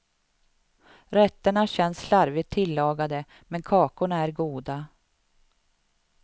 Rätterna känns slarvigt tillagade, men kakorna är goda.